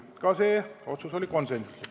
Ka see otsus oli konsensuslik.